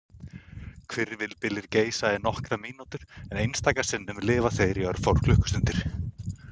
Hvirfilbyljir geisa í nokkrar mínútur en einstaka sinnum lifa þeir í örfáar klukkustundir.